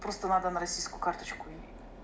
просто надо на российскую карточку и